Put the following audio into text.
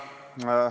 Head kolleegid!